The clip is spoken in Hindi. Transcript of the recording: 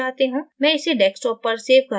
मैं इसे desktop पर सेव करना चाहती हूँ